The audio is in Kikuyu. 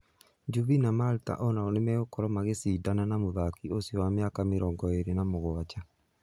Juvi na Malta o nao nĩmegũkorwo magĩcindanĩra mũthaki ũcio wa mĩaka mĩrongo ĩrĩ na mũgwanja.